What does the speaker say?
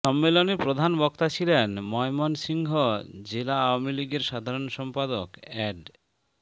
সম্মেলনে প্রধান বক্তা ছিলেন ময়মনসিংহ জেলা আওয়ামী লীগের সাধারণ সম্পাদক অ্যাড